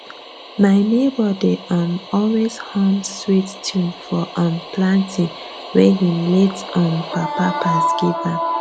my neighbor dey um always hum sweet tune for um planting wey him late um papa pass give am